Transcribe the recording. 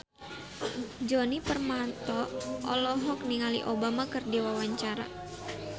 Djoni Permato olohok ningali Obama keur diwawancara